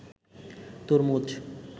তরমুজ